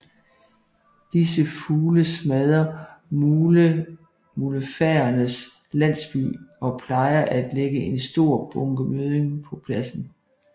Disse fugle smadrer mulefaernes landsbyer og plejer at lægge en stor bunke mødding på pladsen